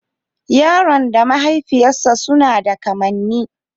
Yaron da mahaifiyarsa suna da kamanni